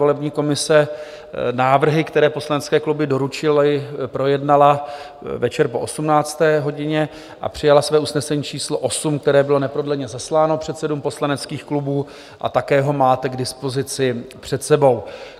Volební komise návrhy, které poslanecké kluby doručily, projednala večer po 18. hodině a přijala své usnesení číslo 8, které bylo neprodleně zasláno předsedům poslaneckých klubů, a také ho máte k dispozici před sebou.